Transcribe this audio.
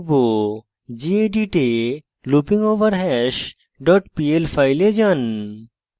gedit এ loopingoverhash dot pl এ যান